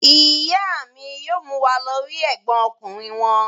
Ìyá mi yóò mú wa lọ rí ẹ̀gbọ́n ọkùnrin wọn.